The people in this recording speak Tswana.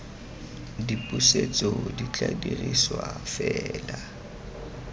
dipusetso di tla dirisiwa fela